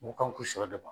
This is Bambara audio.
Mu kan k'i sɔ dɛmɛ